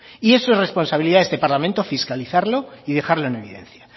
es responsabilidad de este parlamento fiscalizarlo y dejarlo en evidencia